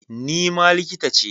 Ni ma likita ce.